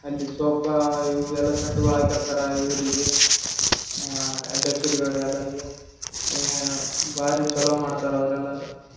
ಅಲ್ಲಿ ಸೋಫ ಇವು ಎಲ್ಲ ಸೆಟ್‌ಗಳು ಹಾಕಿರ್ತಾರ ಇವ್ರಿಗೆ ಅಧ್ಯಕ್ಷರು ಇವರು ಎಲ್ಲರಿಗೆ ಭಾರಿ ಚಲೋ ಮಾಡ್ತಾರ ಅವ್ರೆಲ್ಲರು--